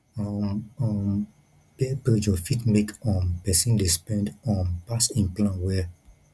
um um peer pressure fit make um pesin dey spend um pass him plan well